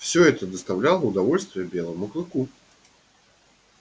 всё это доставляло удовольствие белому клыку